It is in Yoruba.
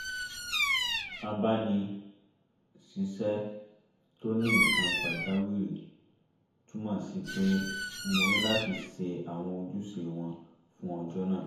abáni-ṣiṣẹ́ tó ní nnk`kan pàjáwìrì túmọ̀ sí pé mo ní láti ṣe àwọn ojúṣe wọn fún ọjọ́ náà